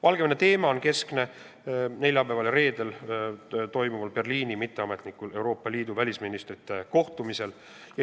Valgevene teema on keskne ka neljapäeval ja reedel Berliinis toimuval mitteametlikul Euroopa Liidu välisministrite kohtumisel.